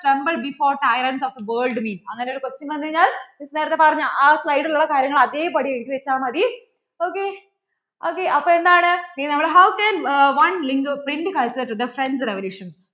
tremble before tyrents of the world mean അങ്ങനെ ഒരു question വന്നു കഴിഞ്ഞാൽ Miss നേരത്തെ പറഞ്ഞു ആ slide ൽ ഉള്ള കാര്യങ്ങൾ അതേപടി എഴുതി വെച്ചാൽ മതി ok ok അപ്പോ എന്താണ് how can one link print culture to the French revolution